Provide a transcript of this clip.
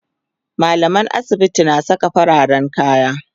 mallaman asibiti na Saka fararen kaya